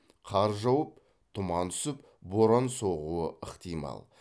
қар жауып тұман түсіп боран соғуы ықтимал